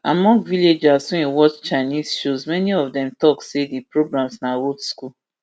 among villagers wey watch chinese shows many of dem tok say di programs na old school